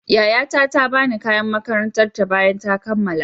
Yayata ta ba ni kayan makarantar ta bayan ta kammala.